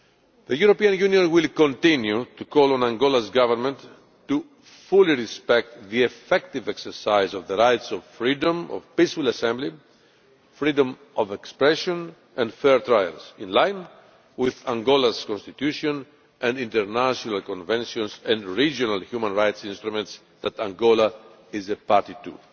The European Union will continue to call on Angola's government to fully respect the effective exercise of the rights of freedom of peaceful assembly and of freedom of expression and the right to a fair trial, in line with Angola's constitution and international conventions and the regional human rights instruments that Angola is a party to.